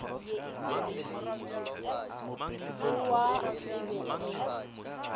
go wa e be e